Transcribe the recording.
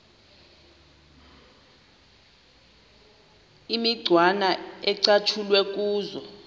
imicwana ecatshulwe kuzo